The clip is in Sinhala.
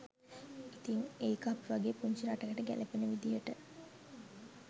ඉතින් ඒක අපි වගේ පුංචි රටකට ගැලපෙන විදිහට